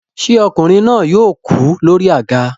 Ṣé ọkùnrin náà yóò kú lórí àga